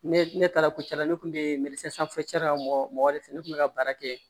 Ne ne taara ko cɛ la ne kun be la mɔgɔ de ne kun be ka baara kɛ